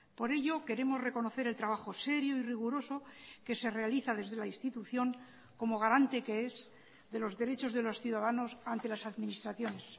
por ello queremos reconocer el trabajo serio y riguroso que se realiza desde la institución como garante que es de los derechos de los ciudadanos ante las administraciones